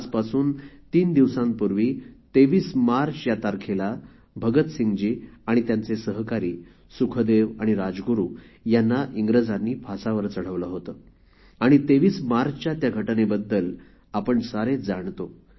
आजपासून तीन दिवसांपूर्वी २३ मार्च या तारखेला भगतसिंगजी त्यांचे सहकारी सुखदेव आणि राजगुरु यांना इंग्रजांनी फासावर चढवले होते आणि २३ मार्चच्या त्या घटनेबद्दल आपण सारे जाणतो